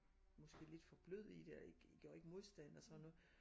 Måske lidt for blød i det og gjorde ikke modstand og sådan noget